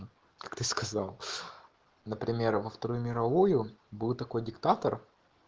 как ты сказал например во вторую мировую был такой диктатор